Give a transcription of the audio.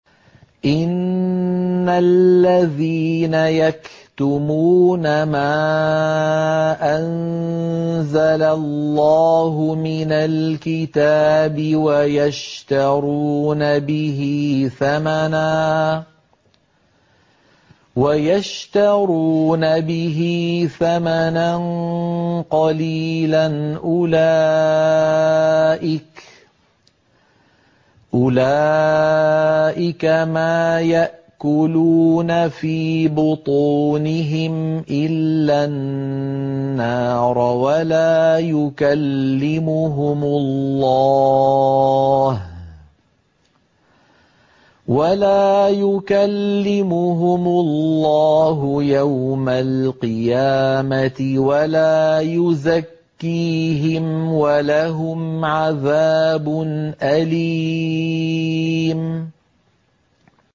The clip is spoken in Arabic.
إِنَّ الَّذِينَ يَكْتُمُونَ مَا أَنزَلَ اللَّهُ مِنَ الْكِتَابِ وَيَشْتَرُونَ بِهِ ثَمَنًا قَلِيلًا ۙ أُولَٰئِكَ مَا يَأْكُلُونَ فِي بُطُونِهِمْ إِلَّا النَّارَ وَلَا يُكَلِّمُهُمُ اللَّهُ يَوْمَ الْقِيَامَةِ وَلَا يُزَكِّيهِمْ وَلَهُمْ عَذَابٌ أَلِيمٌ